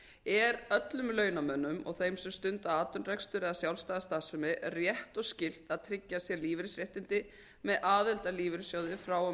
er öllum launamönnum og þeim sem stunda atvinnurekstur eða sjálfstæða starfsemi rétt og skylt að tryggja sér lífeyrisréttindi með aðild að lífeyrissjóði frá og